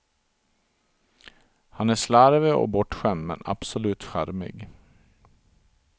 Han är slarvig och bortskämd men absolut charmig.